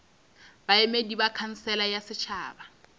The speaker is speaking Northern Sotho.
baemedi ba khansele ya setšhaba